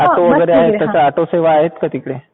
आपल्याकडे ऑटो वगैरे आहे तसं ऑटो सेवा आहेत का तिकडे?